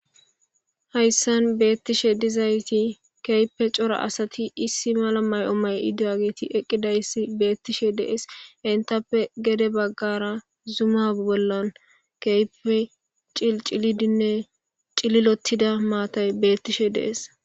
Haysan beetishe dizaysi keehipe cora asati issi mala mayo mayidageti eqidaysi beetishe de'es entape gede bagara Zuma bolan keehipe cilcilidine cililothida maatay beetishe de'es.